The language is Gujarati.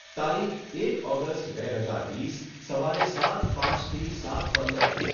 તારીખ, એક ઓગસ્ટ બે હજાર વીસ, સવારે સાત પાંચથી સાત પંદર